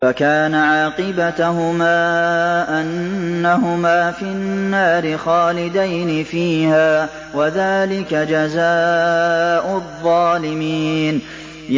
فَكَانَ عَاقِبَتَهُمَا أَنَّهُمَا فِي النَّارِ خَالِدَيْنِ فِيهَا ۚ وَذَٰلِكَ جَزَاءُ الظَّالِمِينَ